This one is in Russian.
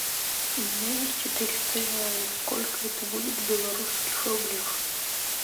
у меня есть четыреста реалов сколько это будет в белорусских рублях